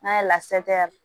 N'a ye